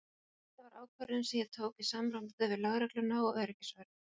Þetta var ákvörðun sem ég tók í samráði við lögregluna og öryggisvörð.